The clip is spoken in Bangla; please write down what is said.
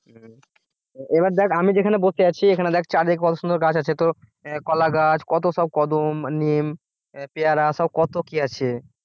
এবার দেখ আমি যেখানে বসে আছি সেখানে দেখ চার দিকে কত সুন্দর গাছ আছে তো কলা গাছ কত সব কদম নিম পেয়ারা সব কত কি আছে